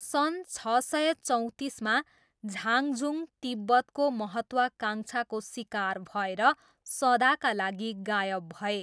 सन् छ सय चौँतिसमा झाङझुङ तिब्बतको महत्त्वाकाङ्क्षाको सिकार भएर सदाका लागि गायब भए।